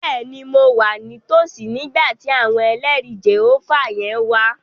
Bẹ́ẹ̀ni, mo wà ní tòsí nígbà tí àwọn ẹlẹrìí Jèhófà yẹn wá